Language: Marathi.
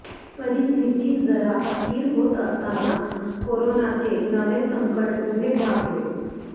परिस्थिती जरा स्थिर होत असताना कोरोनाचे नवे संकट उभे ठाकले